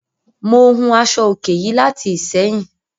Mo hun aṣọ-òkè yìí láti Ìsẹ́yìn